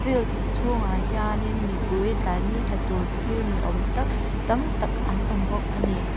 field chhungah hianin mipui tlai ni tla tur thlir ni awm tak tam tak an awm bawk a ni.